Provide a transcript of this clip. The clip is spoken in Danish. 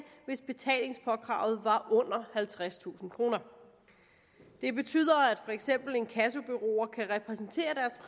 hvis betalingspåkravet var under halvtredstusind kroner det betyder at for eksempel inkassobureauer kan repræsentere